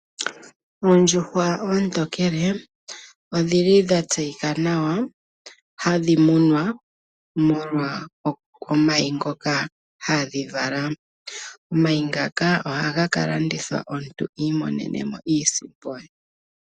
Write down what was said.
Oondjuhwa oontokele odhi li dha tse yi ka nawa, hadhi munwa molwa omayi ngoka ha dhi vala. Omayi ngaka oha ga ka landithwa omuntu i monenemo iisimpo ye.